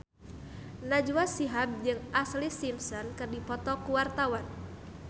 Najwa Shihab jeung Ashlee Simpson keur dipoto ku wartawan